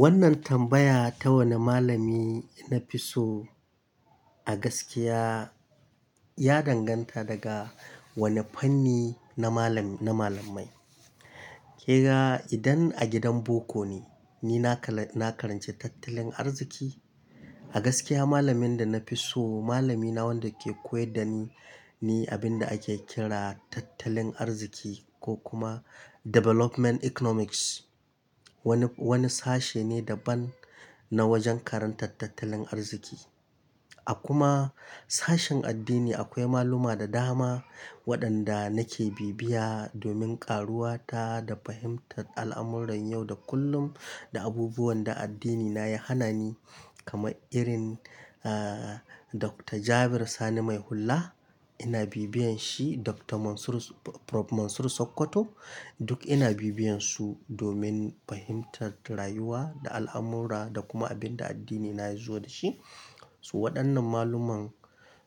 Wannan tambaya ta wane malami na fi so a gaskiya ya danganta daga wane fanni na malam-na malamai. Kega idan a gidan boko ne, ni na kala-- na karanci tattalin arziki. A gaskiya malamin da na fi so malami na wanda ke koyar da ni ne abin da ake kira tattalin arziki ko kuma Development Economics. Wani, wani sashe ne daban na wajen karantar tattalin arziki. A kuma sashin addini akwai maluma da dama waɗanda nake bibiya domin ƙaruwa ta da fahimtar al'amuran yau da kullum da abubuwan da addinina ya hana ni kamar irin, ah, Dr. Jabir Sani Mai Hulla ina bibiyan shi, Dr. Mansur, Prof. Mansur Sokoto duk ina bibiyan su domin fahimtar rayuwa da al'amura da kuma abin da addinina ya zo da shi. So waɗannan maluman